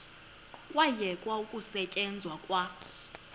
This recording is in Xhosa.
kwayekwa ukusetyenzwa kwa